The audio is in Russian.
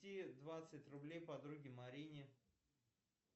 двадцать рублей подруге марине